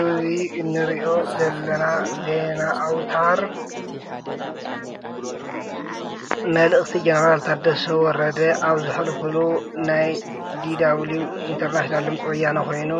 እዚ እንሪኦ ዘለና ዜና ኣውታር መልእኽቲ ጀነራል ታደሰ ወረደ ኣብ ዘሕልፍሉ ናይ DW ኢንተርናሽናል ድምፂ ወያነ ኮይኑ